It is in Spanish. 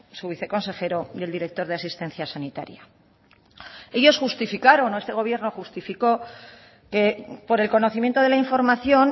su viceconsejero y el director de asistencia sanitaria ellos justificaron o este gobierno justificó por el conocimiento de la información